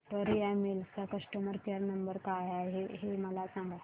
Victoria Mills चा customer care number काय आहे हे मला सांगा